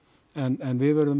en við verðum